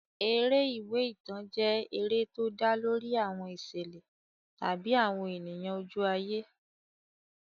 Eré ìwé ìtàn jẹ́ eré tó dá lórí àwọn ìṣẹ̀lẹ̀ tàbí àwọn ènìyàn ojú ayé.